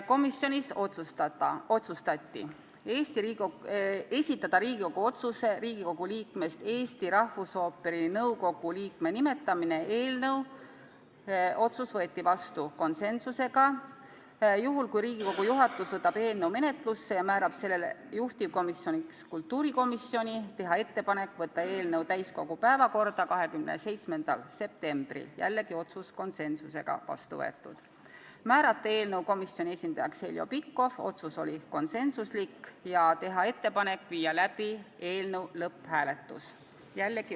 Komisjonis otsustati esitada Riigikogu otsuse "Riigikogu liikmest Eesti Rahvusooperi nõukogu liikme nimetamine" eelnõu ning juhul, kui Riigikogu juhatus võtab eelnõu menetlusse ja määrab selle juhtivkomisjoniks kultuurikomisjoni, teha ettepanek võtta eelnõu täiskogu päevakorda 27. septembriks , määrata eelnõu komisjoni esindajaks Heljo Pikhof ja teha ettepanek panna eelnõu lõpphääletusele .